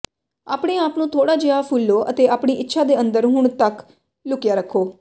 ਆਪਣੇ ਆਪ ਨੂੰ ਥੋੜਾ ਜਿਹਾ ਫੁੱਲੋ ਅਤੇ ਆਪਣੀ ਇੱਛਾ ਦੇ ਅੰਦਰ ਹੁਣ ਤੱਕ ਲੁਕਿਆ ਰੱਖੋ